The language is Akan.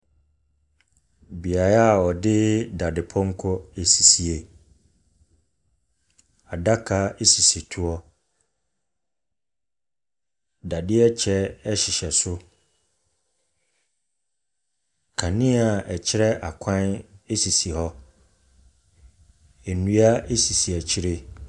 Beaeɛ a wɔde dadepɔnkɔ asisie. Adaka sisi toɔ. Dadeɛ kyɛ hyehyɛ so. Kanea a ɛkyerɛ akwan sisi hɔ. Nnua sisi akyire.